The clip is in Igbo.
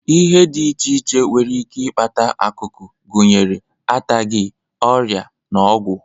Ihe dị iche iche nwere ike ịkpata ọkụ ọkụ, gụnyere anataghi, ọrịa na ọgwụ